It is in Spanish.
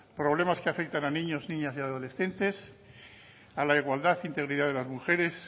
problemas que afectan a niños niñas y adolescentes a la igualdad e integridad de las mujeres